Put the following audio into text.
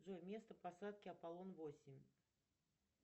джой место посадки аполлон восемь